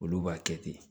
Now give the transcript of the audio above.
Olu b'a kɛ ten